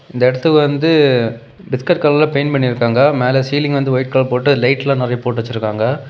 இந்த இடத்துக்கு வந்து பிஸ்கட் கலர்ல பெயிண்ட் பண்ணி இருக்காங்க. மேல சீலிங்ல வந்து ஒயிட் கலர் போட்டு லைட் எல்லாம் நறைய போட்டு வச்சிருக்காங்க.